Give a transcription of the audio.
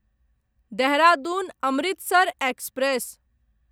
Dehradun Amritsar express